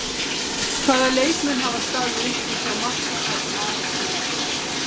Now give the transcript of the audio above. Hvaða leikmenn hafa staðið upp úr hjá Magna það sem af er tímabili?